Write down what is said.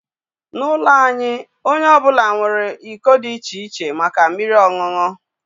N'ụlọ anyị, onye ọ bụla nwere iko dị iche iche maka mmiri ọṅụṅụ